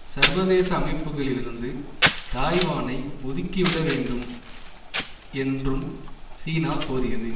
சர்வதேச அமைப்புகளிலிருந்து தாய்வானை ஒதுக்கிவிட வேண்டும் என்றும் சீனா கோரியது